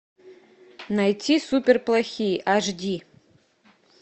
найти супер плохие аш ди